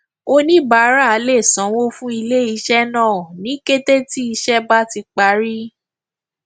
oníbàárà lè sanwó fún iléiṣẹ náà ní kété tí ìṣe bá ti parí